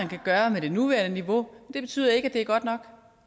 kan gøre med det nuværende niveau det betyder ikke at det er godt nok